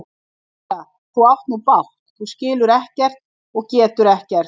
Rósa, þú átt nú bágt, þú skilur ekkert og getur ekkert.